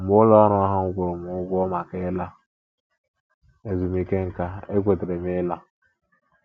Mgbe ụlọ ọrụ ahụ kwụrụ m ụgwọ maka ịla ezumike nká, ekwetere m ịla. ”